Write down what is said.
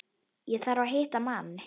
Ég þarf að hitta mann.